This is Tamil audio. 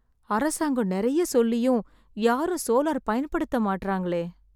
அரசாங்கம் நிறைய சொல்லியும் யாரும் சோலார் பயன்படுத்த மாட்ராங்களே.